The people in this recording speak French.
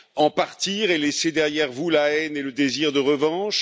En partir et laisser derrière vous la haine et le désir de revanche?